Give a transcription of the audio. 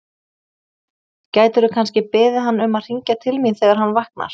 Gætirðu kannski beðið hann um að hringja til mín þegar hann vaknar?